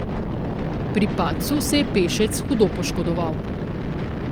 Pri padcu se je pešec hudo poškodoval.